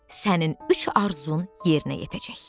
Sənin üç arzun yerinə yetəcək.